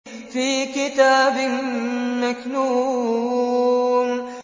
فِي كِتَابٍ مَّكْنُونٍ